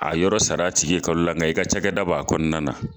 A yɔrɔ sara a tigi ye kalo la. Nga i ka cakɛda b'a kɔnɔna na.